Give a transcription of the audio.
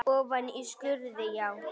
Ofan í skurði, já?